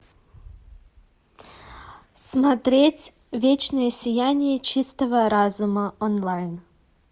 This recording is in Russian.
смотреть вечное сияние чистого разума онлайн